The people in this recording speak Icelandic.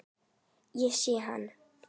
Ég sé hann